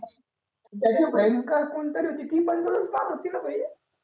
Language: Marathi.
त्याची बहीण का कोण तरी होती ती पण तुलाच पाहत होती ना भाई